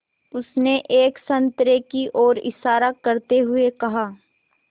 उसने एक संतरे की ओर इशारा करते हुए कहा